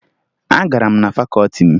Agara m na fakọọti m